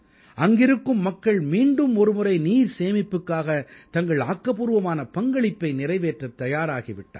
அங்கிருக்கும் மக்கள் மீண்டும் ஒருமுறை நீர் சேமிப்புக்காக தங்கள் ஆக்கப்பூர்வமான பங்களிப்பை நிறைவேற்றத் தயாராகி விட்டார்கள்